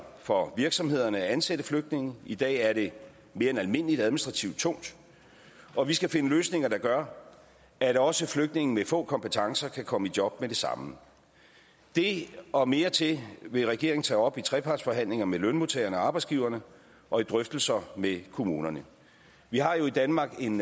for virksomhederne at ansætte flygtninge i dag er det mere end almindelig administrativt tungt og vi skal finde løsninger der gør at også flygtninge med få kompetencer kan komme i job med det samme det og mere til vil regeringen tage op i trepartsforhandlinger med lønmodtagerne og arbejdsgiverne og i drøftelser med kommunerne vi har jo i danmark en